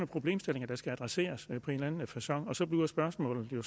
problemstillinger der skal adresseres på en eller anden facon og så bliver spørgsmålet jo